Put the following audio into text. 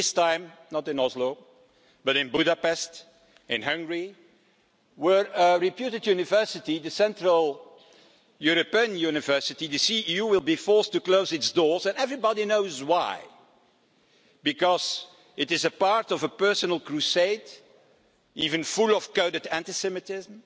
this time not in Oslo, but in Budapest, in Hungary, where a reputed university, the Central European University, the CEU, will be forced to close its doors and everybody knows why because this is part of a personal crusade, even full of coded anti Semitism,